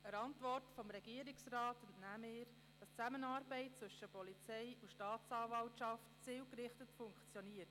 Der Antwort des Regierungsrats entnehmen wir, dass die Zusammenarbeit zwischen Polizei und Staatsanwaltschaft zielgerichtet funktioniert.